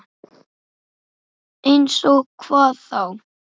Eins og hvað þá?